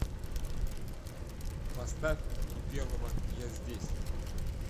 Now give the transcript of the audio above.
поставь кипелова я здесь